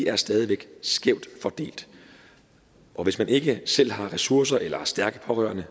er stadig væk skævt fordelt og hvis man ikke selv har ressourcer eller har stærke pårørende